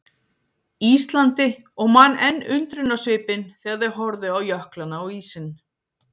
Íslandi og man enn undrunarsvipinn þegar þau horfðu á jöklana og ísinn.